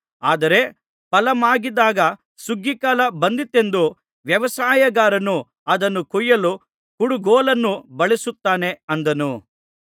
ಆದರೆ ಫಲಮಾಗಿದಾಗ ಸುಗ್ಗಿಕಾಲ ಬಂದಿತೆಂದು ವ್ಯವಸಾಯಗಾರನು ಅದನ್ನು ಕೊಯ್ಯಲು ಕುಡುಗೋಲನ್ನು ಬಳಸುತ್ತಾನೆ ಅಂದನು